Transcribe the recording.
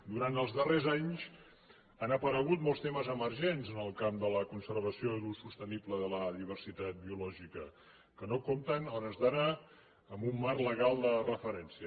durant els darrers anys han aparegut molts temes emergents en el camp de la conservació i l’ús sostenible de la diversitat biològica que no compten a hores d’ara amb un marc legal de referència